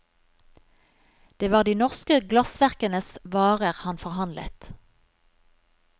Det var de norske glassverkenes varer han forhandlet.